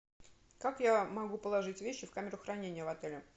как я могу положить вещи в камеру хранения в отеле